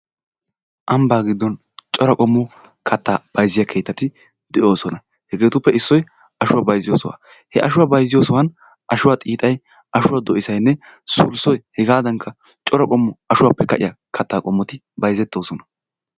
Ambbaa giddon cora qommo kattaa bayzziya keettati de'oosona. Hegeetuppe issoy ashuwa bayzziyo sohaa. He ashuwa bayzziyo sohuwan ashuwa xiixay, ashuwa doysaynn sulssoy hegadankka cora qommo ashuwappe ka'iya kattaa qommoti bayzettoosona.